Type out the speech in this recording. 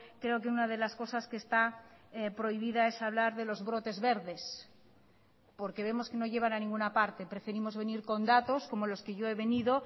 creo que una de las cosas que está prohibida es hablar de los brotes verdes porque vemos que no llevan a ninguna parte preferimos venir con datos como los que yo he venido